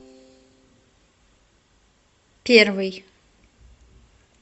первый